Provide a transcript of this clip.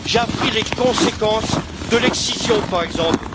J'ai appris les conséquences de l'excision, par exemple.